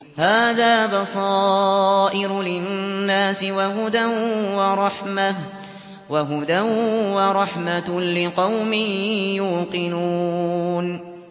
هَٰذَا بَصَائِرُ لِلنَّاسِ وَهُدًى وَرَحْمَةٌ لِّقَوْمٍ يُوقِنُونَ